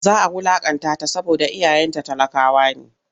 Za a wulaƙantata saboda iyayenta talakawa ne.